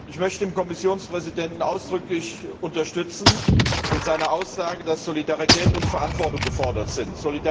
Ich möchte den Kommissionspräsidenten ausdrücklich unterstützen in seiner Aussage, dass Solidarität und Verantwortung gefordert sind.